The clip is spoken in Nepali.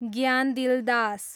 ज्ञानदिल दास